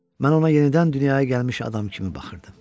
Mən ona yenidən dünyaya gəlmiş adam kimi baxırdım.